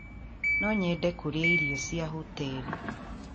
No nyende kũrĩa irio cia hoteri